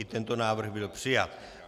I tento návrh byl přijat.